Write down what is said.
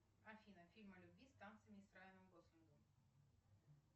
афина фильм о любви с танцами и с райаном гослингом